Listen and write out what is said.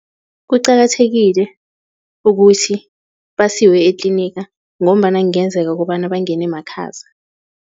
Kuqakathekile ukuthi basiwe etliniga ngombana kungenzeka ukobana bangene makhaza.